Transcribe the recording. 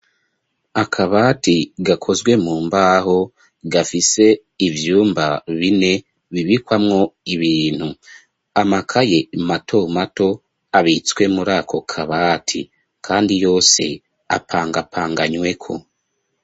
Akabati, gakozwe mu mbaho, gafise ivyumba bine, bibikwamwo ibintu; amakaye, mato mato, abitswe muri ako kabati, kandi yose, apangapanganyweko.